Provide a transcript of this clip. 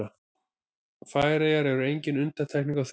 Færeyjar eru engin undantekning á því.